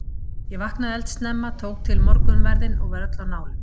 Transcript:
Ég vaknaði eldsnemma, tók til morgunverðinn og var öll á nálum.